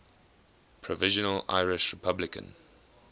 provisional irish republican